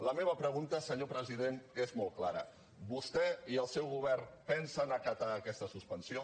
la meva pregunta senyor president és molt clara vostè i el seu govern pensen acatar aquesta suspensió